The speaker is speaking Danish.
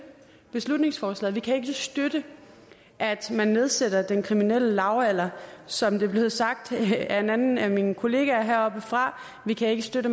beslutningsforslaget vi kan ikke støtte at man nedsætter den kriminelle lavalder som det er blevet sagt af en anden af mine kollegaer heroppefra vi kan ikke støtte